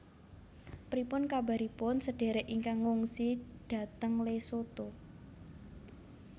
Pripun kabaripun sedherek ingkang ngungsi dhateng Lesotho?